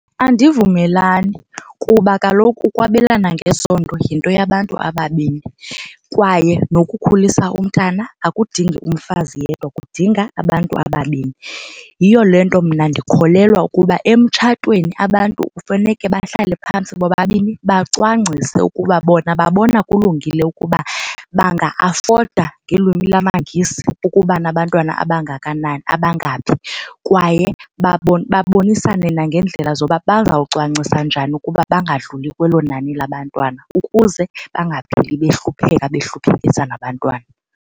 Andivumelani kuba kaloku ukwabelana ngesondo yinto yabantu ababini kwaye nokukhulisa umntana akudingi umfazi yedwa kudinga abantu ababini. Yiyo le nto mna ndikholelwa ukuba emtshatweni abantu kufuneke bahlale phantsi bobabini bacwangcise ukuba bona babona kulungile ukuba banga-afoda ngelwimi lamaNgesi ukuba nabantwana abangakanani abangaphi. Kwaye babonisane nangeendlela zoba bazawucwangcisa njani ukuba bangadluli kwelo nani labantwana ukuze bangapheli behlupheka behluphekisa nabantwana.